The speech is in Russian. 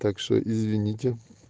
так что извините